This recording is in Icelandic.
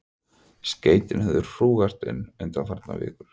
Skeytin höfðu hrúgast inn undanfarnar vikur.